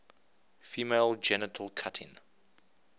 female genital cutting